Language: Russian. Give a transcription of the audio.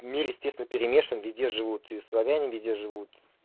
мир естественно перемешан везде живут и славяне везде живут